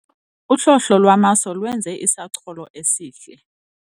Uhlohlo lwamaso lwenze isacholo esihle.